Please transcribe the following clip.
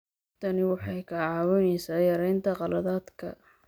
Tani waxay kaa caawinaysaa yaraynta khaladaadka.